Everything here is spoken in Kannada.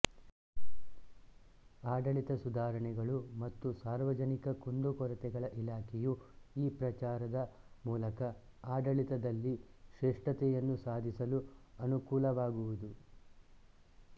ಆಡಳಿತ ಸುಧಾರಣೆಗಳು ಮತ್ತು ಸಾರ್ವಜನಿಕ ಕುಂದುಕೊರತೆಗಳ ಇಲಾಖೆಯು ಈ ಪ್ರಚಾರದ ಮೂಲಕ ಆಡಳಿತದಲ್ಲಿ ಶ್ರೇಷ್ಠತೆಯನ್ನು ಸಾಧಿಸಲು ಅನುಕೂಲವಾಗುವುದು